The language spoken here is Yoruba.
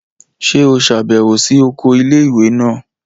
Ṣe o ṣabẹwo si oko ilé-ìwé náà?